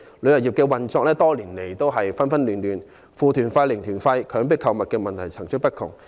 旅遊業多年來運作紛亂，"負團費"、"零團費"、強迫購物等問題層出不窮。